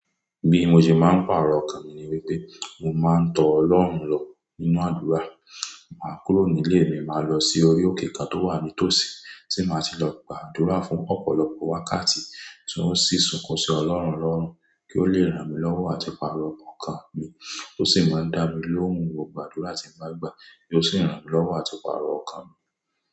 Bi mo ṣe máa ń pàrọ̀ ọkàn mi ni wípé mo máa ń tọ Ọlọ́run lọ nínú àdúrà. Mà á kúrò nílé mi, máa lọ sí orí òkè ká tó wà ní tòsí tí màá ti lọ gba àdúrà fún ọ̀pọ̀lọpọ̀ wákàtí tí ó sì sunkún sí Ọlọ́run lọ́rùn kí ó lè ràn mí lọ́wọ́ àti pàrọ̀ ọkàn mi. Ó sì máa ń dá mi lóhùn gbogbo àdúrà tí mo bá gbà kí ó sì ràn mí lọ́wọ́ àti pàrọ̀ ọkàn mi.